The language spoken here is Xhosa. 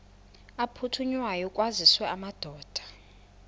aphuthunywayo kwaziswe amadoda